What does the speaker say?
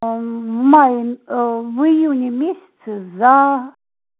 ээ мм в июне ээ в июне месяце за